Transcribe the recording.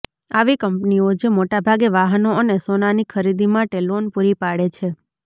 આવી કંપનીઓ જે મોટાભાગે વાહનો અને સોનાની ખરીદી માટે લોન પૂરી પાડે છે